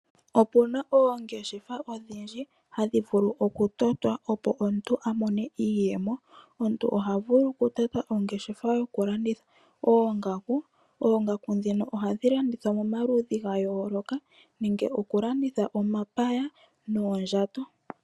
Opena oongeshefa odhindjinhadhi vulu okutotwa opo omuntu amonemo iiyemo. Omuntu ohavulu okutota po ongeshefa hokulanditha oongaku noongaku dhino ohadhi landithwa momaludhi gayooloka nenge okulanditha omapaya noondjato.